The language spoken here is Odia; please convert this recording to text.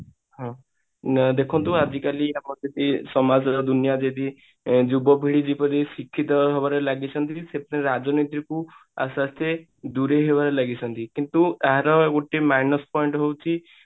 ହଁ ଦେଖନ୍ତୁ ଆଜିକାଲି ଆମର ସମାଜ ବା ଦୁନିଆ ଯଦି ଯୁବପିଢି ଯୁବ ଯୋଉ ଶିକ୍ଷିତ ହେବାରେ ଲାଗିଛନ୍ତି ସେଥିରେ ରାଜନୀତି ରୁ ଆସ୍ତେ ଆସ୍ତେ ଦୂରେଇ ହେବାରେ ଲାଗିଛନ୍ତି କିନ୍ତୁ ଏହାର ଗୋଟେ minus point ହଉଛି